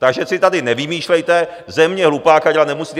Takže si tady nevymýšlejte, ze mě hlupáka dělat nemusíte.